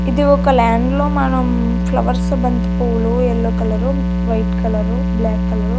ఇది ఒక ల్యాండ్ లో మనం ఫ్లవర్సు బంతిపువ్వులు yellow colour white colour black colour --